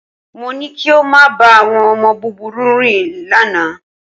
Mo ní kí o máa bá àwọn ọmọ búburú rìn lánàá